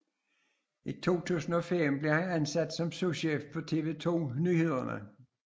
I 2005 blev han ansat som souschef på TV 2 Nyhederne